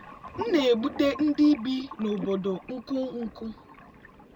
m na-egbutu ndị bi n’obodo nkụ nkụ.